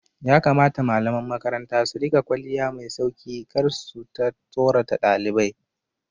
Ya kamata malaman makaranta su riƙa kwalliya mai sauki kar suta tsorata ɗalibai